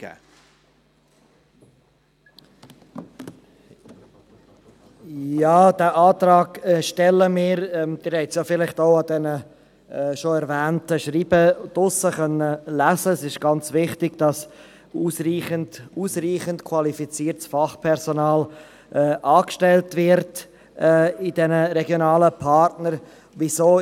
Diesen Antrag stellen wir – das haben Sie vielleicht bereits anhand der bereits erwähnten Schreiben draussen lesen können – weil es ganz wichtig ist, dass ausreichend qualifiziertes Fachpersonal bei den regionalen Partnern angestellt wird.